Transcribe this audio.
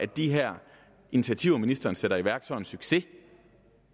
de her initiativer som ministeren sætter i værk så er en succes